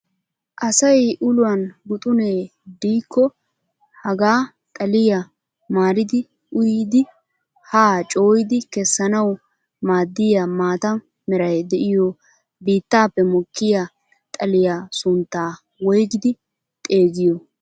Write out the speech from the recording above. Asay uluwaan guxunee diikko hagaa xaliyaa maaridi uyidi haa cooyidi kessanawu maaddiyaa maata meray de'iyoo biittaappe mokkiyaa xaliyaa sunttaa woygidi xeegiyoo?